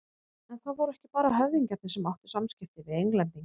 En það voru ekki bara höfðingjarnir sem áttu samskipti við Englendinga.